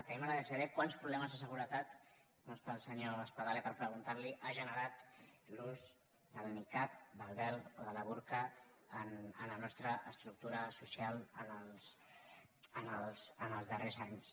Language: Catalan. a mi m’agradaria saber quants problemes de seguretat no està el senyor espadaler per preguntar li ho ha generat l’ús del nicab del vel o del burca en la nostra estructura social els darrers anys